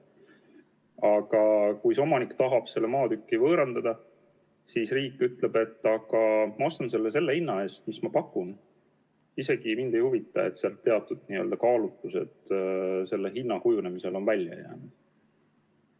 Aga kui omanik tahab selle maatüki võõrandada, siis riik ütleb, et ma ostan selle vaat säärase hinna eest ja mind ei huvita, et teatud kaalutlustel on hinna kujunemisel mingid tegurid mõjunud.